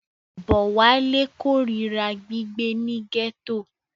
Bówálé korira gbígbé ní gẹ́tò.